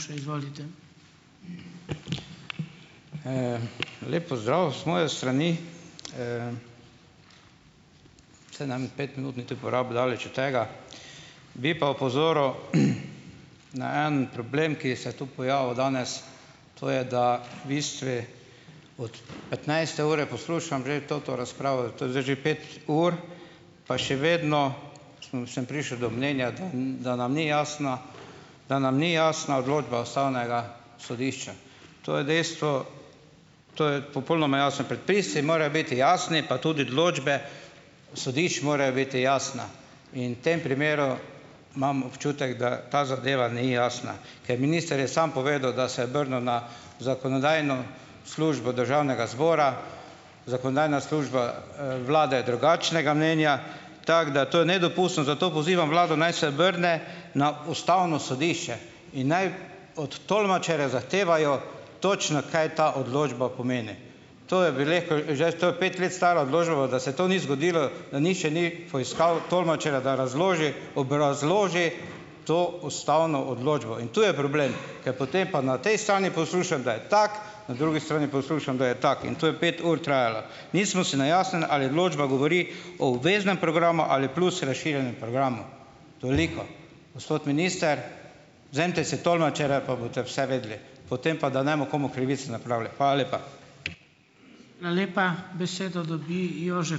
Lep pozdrav z moje strani. Saj ne bom pet minut niti daleč od tega. Bi pa opozoril, na en problem, ki se tu pojavil danes, to je, da v bistvi od petnajste ure poslušam že to razpravo, to je zdaj že pet ur, pa še vedno sem sem prišel do mnenja, da da nam ni jasna da nam ni jasna odločba ustavnega sodišča. To je dejstvo. To je popolnoma jasno. Predpisi morajo biti jasni, pa tudi sodišč morajo biti jasne. In v tem primeru imam občutek, da ta zadeva ni jasna, ker minister je samo povedal, da se je obrnil na zakonodajno službo državnega zbora. Zakonodajna služba, vlade je drugačnega mnenja. Tako da to je nedopustno. Zato pozivam vlado naj se vrne na ustavno sodišče. In naj od tolmačerja zahtevajo točno, kaj ta odločba pomeni. To je, bi rekel, zdaj to pet let stara odločba, da se to ni zgodilo, da nihče ni poiskal tolmačerja, da razloži, obrazloži to ustavno odločbo in to je problem, ker potem pa na tej strani poslušam, da je tako, na drugi strani poslušam, da je tako, in to je pet ur trajalo. Nismo si na jasnem, ali odločba govori o obveznem programu ali plus razširjenem programu. Toliko. Gospod minister, vzemite si tolmačerja pa boste vse vedeli, potem pa, da ne bomo komu krivic napravili. Hvala lepa.